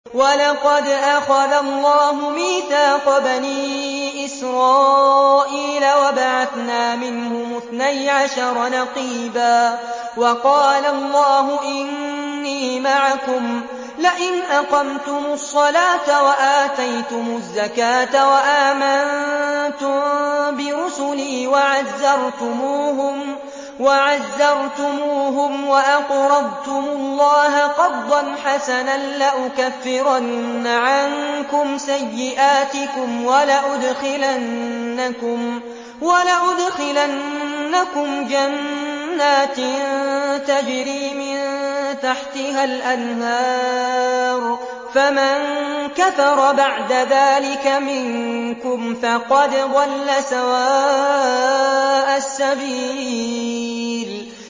۞ وَلَقَدْ أَخَذَ اللَّهُ مِيثَاقَ بَنِي إِسْرَائِيلَ وَبَعَثْنَا مِنْهُمُ اثْنَيْ عَشَرَ نَقِيبًا ۖ وَقَالَ اللَّهُ إِنِّي مَعَكُمْ ۖ لَئِنْ أَقَمْتُمُ الصَّلَاةَ وَآتَيْتُمُ الزَّكَاةَ وَآمَنتُم بِرُسُلِي وَعَزَّرْتُمُوهُمْ وَأَقْرَضْتُمُ اللَّهَ قَرْضًا حَسَنًا لَّأُكَفِّرَنَّ عَنكُمْ سَيِّئَاتِكُمْ وَلَأُدْخِلَنَّكُمْ جَنَّاتٍ تَجْرِي مِن تَحْتِهَا الْأَنْهَارُ ۚ فَمَن كَفَرَ بَعْدَ ذَٰلِكَ مِنكُمْ فَقَدْ ضَلَّ سَوَاءَ السَّبِيلِ